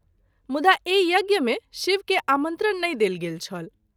मुदा एहि यज्ञ मे शिव के आमंत्रण नहिं देल गेल छल।